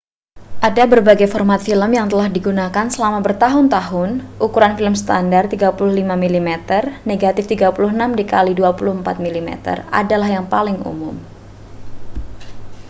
ada berbagai format film yang telah digunakan selama bertahun-tahun. ukuran film standar 35 mm negatif 36 kali 24 mm adalah yang paling umum